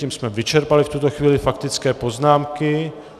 Tím jsme vyčerpali v tuto chvíli faktické poznámky.